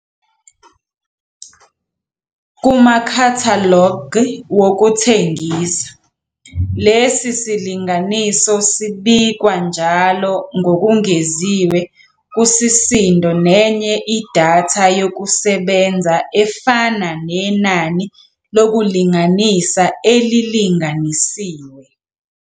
Kumakhathalogi wokuthengisa, lesi silinganiso sibikwa njalo ngokungeziwe kusisindo nenye idatha yokusebenza efana nenani lokulinganisa elilinganisiwe.